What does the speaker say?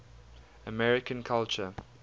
american culture